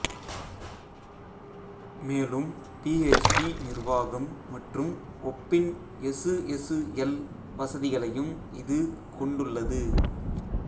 மேலும் பிஎச்பி நிர்வாகம் மற்றும் ஒப்பின் எசுஎசுஎல் வசதிகளையும் இது கொண்டுள்ளது